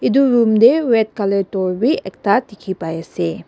edu room tae red colour door bi ekta dikhipaiase.